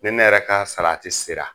Ne ne yɛrɛ ka salati sera,